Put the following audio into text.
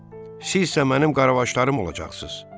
Sizsə mənim qaravaşlarım olacaqsız.